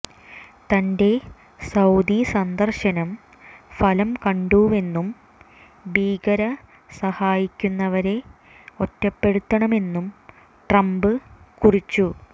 തന്റെ സൌദി സന്ദര്ശനം ഫലം കണ്ടുവെന്നും ഭീകരെ സഹായിക്കുന്നവരെ ഒറ്റപ്പെടുത്തണമെന്നും ട്രംപ് കുറിച്ചു